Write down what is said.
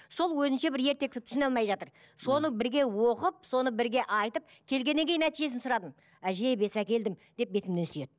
сол өзінше бір ертекті түсіне алмай жатыр соны бірге оқып соны бірге айтып келгеннен кейін нәтижесін сұрадым әже бес әкелдім деп бетімнен сүйеді